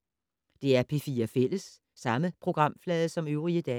DR P4 Fælles